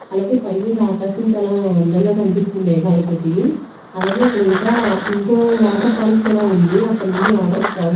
అలాగే పై నుండి ఆకాశం చాలా అందంగా కనిపిస్తుంది మేఘాలతోటి అలాగే ఇక్కడ ఇంకా ఇంకో వాటర్ ఫాల్స్ కూడా ఉంది అక్కడ నుండి వాటర్ ప్రవ--